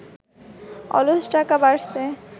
অলস টাকা বাড়ছে